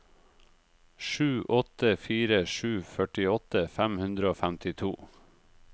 sju åtte fire sju førtiåtte fem hundre og femtito